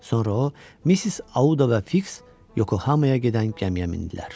Sonra o, Missis Auda və Fiks Yokohamaya gedən gəmiyə mindilər.